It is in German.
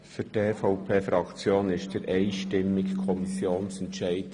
Für die EVP-Fraktion ist der einstimmige Kommissionsantrag in Ordnung;